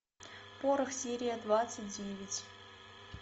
порох серия двадцать девять